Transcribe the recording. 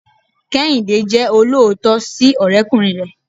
kehinde jẹ oloootọ si ọrẹkunrin rẹ